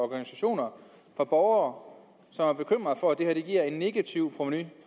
organisationer fra borgere som er bekymret for at det her giver et negativt provenu i